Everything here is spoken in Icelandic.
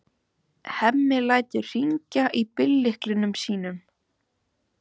Hemmi lætur hringla í bíllyklunum sínum.